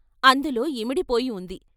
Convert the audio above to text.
అందులో ఇమిడిపోయివుంది.